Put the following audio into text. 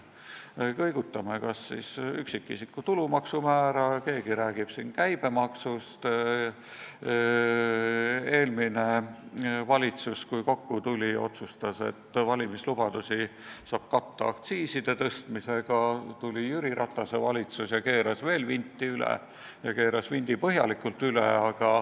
Me kõigutame üksikisiku tulumaksu määra, keegi räägib käibemaksust, eelmine valitsus, kui kokku tuli, otsustas, et valimislubadusi saab katta aktsiiside tõstmisega, siis tuli Jüri Ratase valitsus ja keeras veel vinti üle ning keeras selle põhjalikult üle.